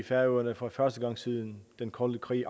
færøerne for første gang siden den kolde krig